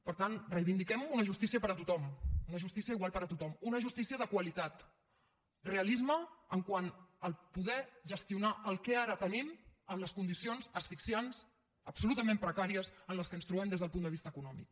per tant reivindiquem una justícia per a tothom una justícia igual per a tothom una justícia de qualitat rea lisme quant a poder gestionar el que ara tenim en les condicions asfixiants absolutament precàries en què ens trobem des del punt de vista econòmic